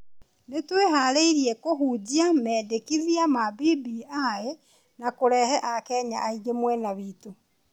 Nĩ tũĩharĩirie kũhunjia mendekithia ma BBI na kũrehe akenya aingĩ mwena witũ.